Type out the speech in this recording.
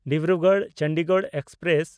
ᱰᱤᱵᱽᱨᱩᱜᱚᱲ–ᱪᱚᱱᱰᱤᱜᱚᱲ express